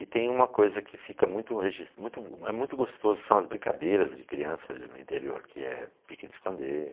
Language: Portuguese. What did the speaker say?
E tem uma coisa que fica muito muito, muito gostoso, são as brincadeiras de criança no interior, que é pique de esconder.